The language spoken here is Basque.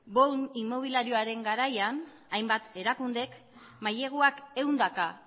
boom inmobiliarioaren garaian hainbat erakundek maileguak ehundaka